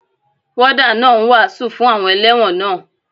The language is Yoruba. Wọ́dà náà ń wàásù fún àwọn elẹ́wọ̀n náà.